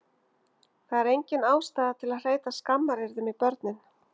Það er engin ástæða til að hreyta skammaryrðum í börnin